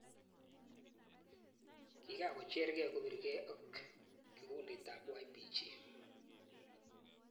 Kikakochergei kopirgei ak Kikundit ap YPG.